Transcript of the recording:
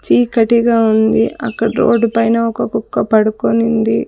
చీకటిగా ఉంది అక్కడ రోడ్డుపైన ఒక కుక్క పడుకొనింది.